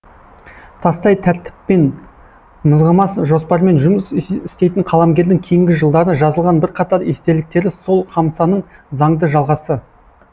тастай тәртіппен мызғымас жоспармен жұмыс істейтін қаламгердің кейінгі жылдары жазылған бірқатар естеліктері сол хамсаның заңды жалғасы